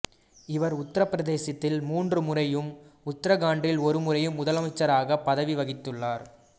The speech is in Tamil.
இவர் உத்தரப் பிரதேசத்தில் மூன்று முறையும் உத்தரகாண்ட்டில் ஒரு முறையும் முதலமைச்சராக பதவி வகித்துள்ளார்